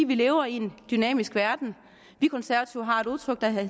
vi lever i en dynamisk verden vi konservative har et udtryk der hedder